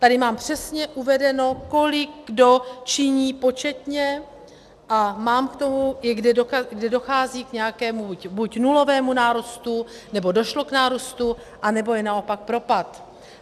Tady mám přesně uvedeno, kolik kdo činí početně, a mám k tomu, i kde dochází k nějakému buď nulovému nárůstu, nebo došlo k nárůstu, anebo je naopak propad.